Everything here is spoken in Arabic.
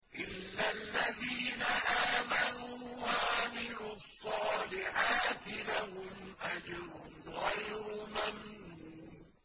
إِلَّا الَّذِينَ آمَنُوا وَعَمِلُوا الصَّالِحَاتِ لَهُمْ أَجْرٌ غَيْرُ مَمْنُونٍ